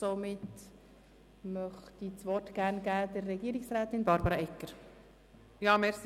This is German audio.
Somit erteile ich das Wort der Regierungsrätin Barbara Egger-Jenzer.